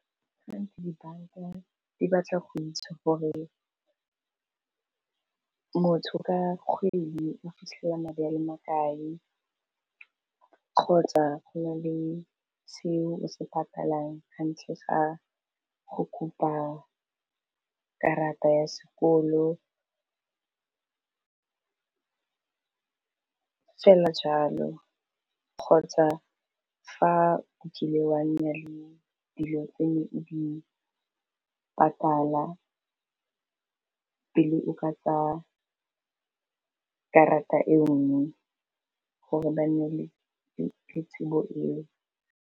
Gantsi dibanka di batla go itse gore motho ka kgwedi o fitlhela madi a le makae kgotsa go na le seo o se patalang ga ntlha ga go kopa ke karata ya sekolo fela jalo kgotsa fa okile wa nna le dilo o di patala pele o ka tsa karata engwe gore ba nne le tsebo eo.